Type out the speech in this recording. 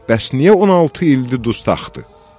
Bəs niyə 16 ildir dustaqdır?